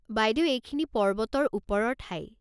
বাইদেউ এইখিনি পৰ্বতৰ ওপৰৰ ঠাই।